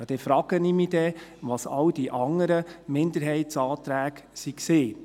Dann frage ich mich, was denn alle anderen Minderheitsanträge waren.